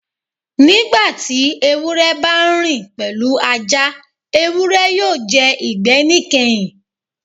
Nigbati ewurẹ ba n rin pẹlu Aja, ewurẹ yoo jẹ igbẹ nikẹhin.